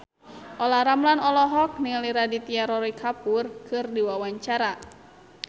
Olla Ramlan olohok ningali Aditya Roy Kapoor keur diwawancara